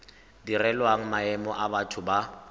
direlwang maemo a batho ba